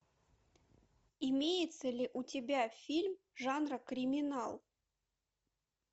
имеется ли у тебя фильм жанра криминал